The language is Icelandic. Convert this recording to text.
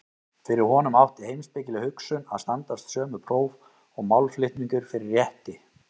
Fyrir honum átti heimspekileg hugsun að standast sömu próf og málflutningur fyrir rétti.